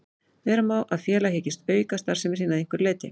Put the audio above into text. Vera má að félag hyggist auka starfsemi sína að einhverju leyti.